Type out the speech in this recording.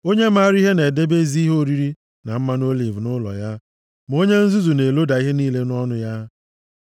Onye maara ihe na-edebe ezi ihe oriri na mmanụ oliv nʼụlọ ya, ma onye nzuzu na-eloda ihe niile nʼọnụ ya.